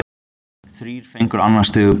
Þrír fengur annars stigs bruna.